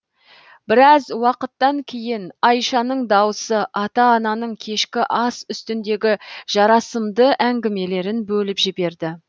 біраз уақыттан кейін айшаның дауысы ата ананың кешкі ас үстіндегі жарасымды әңгімелерін бөліп жіберді